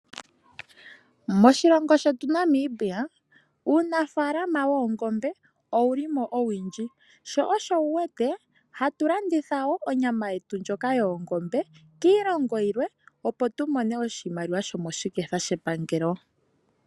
Moshilongo shetu N mibia, uunafaalama woongombe owu li mo owundji. Sho osho wu wete ha tu landitha wo onyama ndjoka yoongombe kiilongo yilwe opo tu mone oshimaliwa sho moshiketha shepangelo.